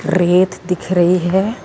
ਰੇਤ ਦਿਖ ਰਹੀ ਹੈ।